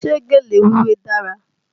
Ṣé gèlè wíwé dára?